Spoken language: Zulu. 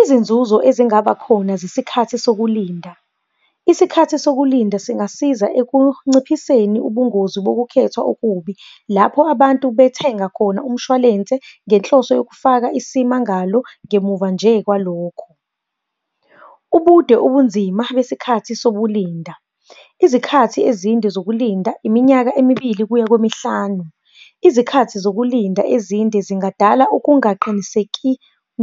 Izinzuzo ezingaba khona zesikhathi sokulinda. Isikhathi sokulinda singasiza ekunciphiseni ubungozi bokukhethwa okubi lapho abantu bethenga khona umshwalense ngenhloso yokufaka isimmangalo ngemuva nje kwalokho. Ubude, ubunzima besikhathi sokulinda, izikhathi ezinde zokulinda, iminyaka emibili kuya kwemihlanu. Izikhathi zokulinda ezinde zingadala ukungaqiniseki